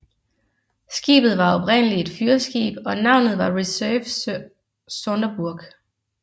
Skibet var oprindeligt et fyrskib og navnet var Reserve Sonderburg